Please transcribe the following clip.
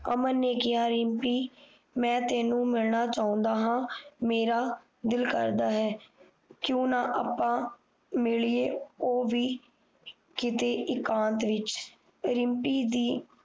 ਅਮਨ ਨੇ ਕਿਹਾ ਰਿਮਪੀ ਮੈਂ ਤੈਨੂੰ ਮਿਲਣਾ ਚਾਹੁੰਦਾ ਹਾਂ ਮੇਰਾ ਦਿਲ ਕਰਦਾ ਹੈ ਕਿਉ ਨਾ ਆਪਾਂ ਮਿਲ ਲੀਏ ਉਹ ਵੀ ਕੀਤੇ ਇਕਾਂਤ ਵਿੱਚ ਰਿਮਪੀ ਦੀ